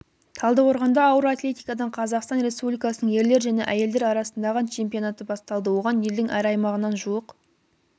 талдықорғанда ауыр атлетикадан қазақстан республикасының ерлер және әйелдер арасындағы чемпионаты басталды оған елдің әр аймағынан жуық